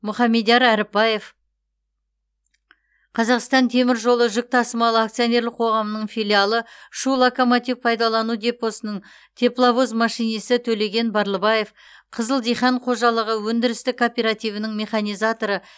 мұхамедияр әріпбаев қазақстан темір жолы жүк тасымалы акционерлік қоғамының филиалы шу локомотив пайдалану депосының тепловоз машинисі төлеген барлыбаев қызыл дихан қожалығы өндірістік кооперативінің механизаторы